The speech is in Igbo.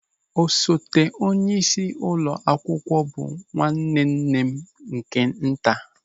Osote onyeisi ụlọ akwụkwọ bụ nwanne nne m nke nta.